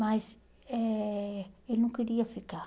Mas eh ele não queria ficar.